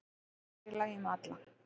En það er í lagi með alla